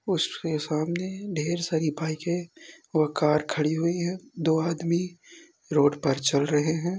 उसके सामने ढेर सारी बाइकें और कार खड़ी हुई हैं दो आदमी रोड पर चल रहे हैं।